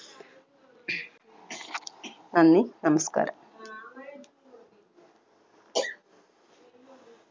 നന്ദി നമസ്ക്കാരം